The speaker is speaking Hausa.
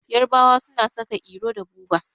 Yarabawa suna saka iro da buba